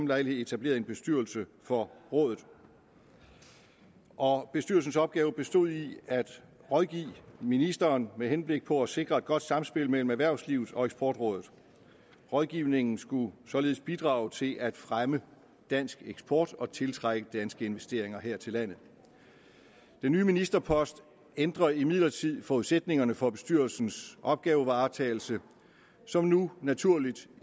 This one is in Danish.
lejlighed etableret en bestyrelse for rådet og bestyrelsens opgave bestod i at rådgive ministeren med henblik på at sikre et godt samspil mellem erhvervslivet og eksportrådet rådgivningen skulle således bidrage til at fremme dansk eksport og tiltrække danske investeringer her til landet den nye ministerpost ændrer imidlertid forudsætningerne for bestyrelsens opgavevaretagelse som nu naturligt